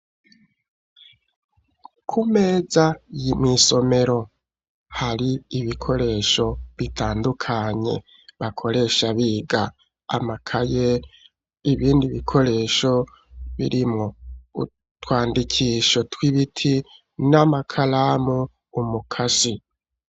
Kumeza y'imisomero hari ibikoresho bitandukanye bakoresha biga amakaye ibindi bikoresho birimwo utwandikisho tw'ibiti n'amakaramu umukasi.